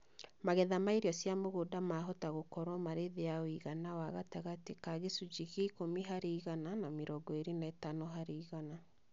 Magetha ma irio cia mũgũnda mahota gũkorũo marĩ thĩĩ ya ũigana wa gatagatĩ ka gĩcunjĩ gĩa ikumi harĩ igana na mĩrongo ĩrĩ na ĩtano harĩ igana.